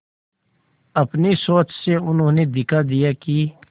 अपनी सोच से उन्होंने दिखा दिया कि